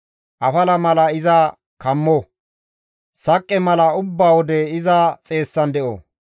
Afala mala iza kammo; saqqe mala ubba wode iza xeessan de7o!